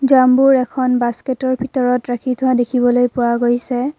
জামবোৰ এখন বাস্কেটৰ ভিতৰত ৰাখি থোৱা দেখিবলৈ পোৱা গৈছে।